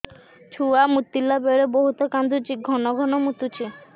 ଛୁଆ ମୁତିଲା ବେଳେ ବହୁତ କାନ୍ଦୁଛି ଘନ ଘନ ମୁତୁଛି